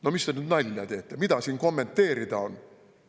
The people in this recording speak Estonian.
No mis te nüüd nalja teete, mida seal kommenteerida on!